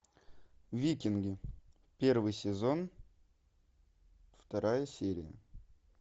викинги первый сезон вторая серия